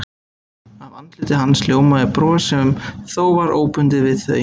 Af andliti hans ljómaði bros sem þó var óbundið við þau.